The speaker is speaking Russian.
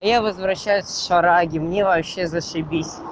я возвращаюсь с шараги мне вообще зашибись